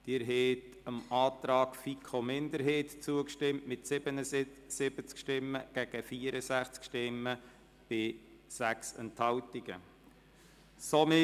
Sie haben dem Antrag FiKo-Minderheit mit 77 gegen 64 Stimmen bei 6 Enthaltungen zugestimmt.